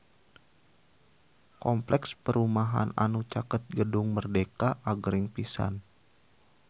Kompleks perumahan anu caket Gedung Merdeka agreng pisan